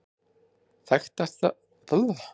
Þekktasta dæmið hérlendis er líklega Hans Jónatan.